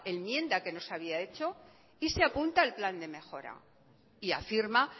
enmienda que nos había hecho y se apunta al plan de mejora y afirma